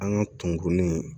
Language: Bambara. An ka kunkurunin